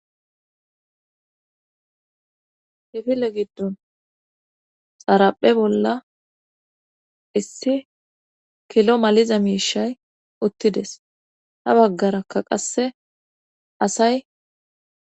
Kifile giddon xaraphe bolla issi kilo maliza miishay uttides ha baggarakka qasse asay